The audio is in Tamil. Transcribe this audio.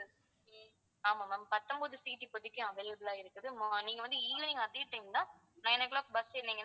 ஆமா ma'am பத்தொன்பது seat இப்போதைக்கு available ஆ இருக்குது ஆஹ் நீங்க வந்து evening அதே time ல nine o'clock bus ஏறுனீங்கனா